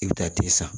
I bɛ taa ten san